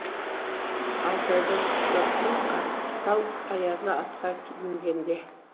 алтайдың қысы тым қатал аязы атқа мінгенде